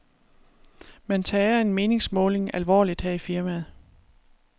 Man tager en meningsmåling alvorligt her i firmaet.